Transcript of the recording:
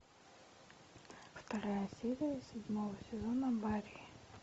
вторая серия седьмого сезона баффи